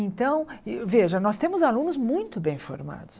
Então, veja, nós temos alunos muito bem formados.